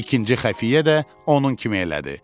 İkinci xəfiyyə də onun kimi elədi.